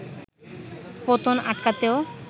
পতন আটকাতেও